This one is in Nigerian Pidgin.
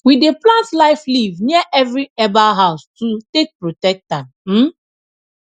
we dey plant life leaf near every herbal house to take protect am um